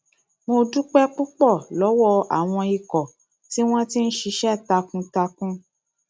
mo dúpẹ púpọ lọwọ àwọn ikọ tí wọn ti ń ṣiṣẹ takuntakun